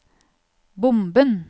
bomben